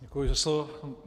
Děkuji za slovo.